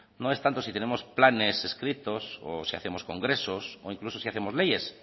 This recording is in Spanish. no es tanto si tenemos planes escritos o si hacemos congresos o incluso si hacemos leyes